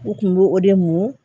U kun b'o o de mun